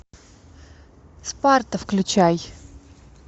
спарта включай